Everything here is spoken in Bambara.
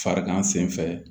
Farigan sen fɛ